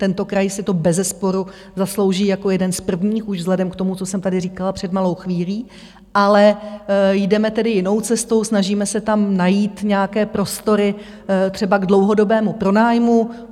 Tento kraj si to bezesporu zaslouží jako jeden z prvních už vzhledem k tomu, co jsem tady říkala před malou chvílí, ale jdeme tedy jinou cestou, snažíme se tam najít nějaké prostory třeba k dlouhodobému pronájmu.